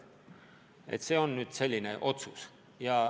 Aga esialgu on langetatud selline otsus.